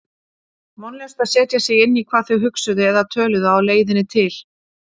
Vonlaust að setja sig inn í hvað þau hugsuðu eða töluðu á leiðinni til